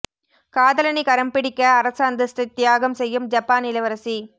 காதலனை கரம் பிடிக்க அரச அந்தஸ்தை தியாகம் செய்யும் ஜப்பான் இளவரசி